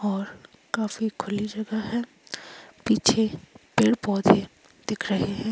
और काफी खुली जगह है पीछे पेड़ पौधे दिख रहे हैं।